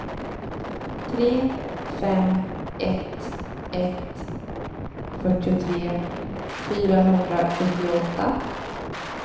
tre fem ett ett fyrtiotre fyrahundrasjuttioåtta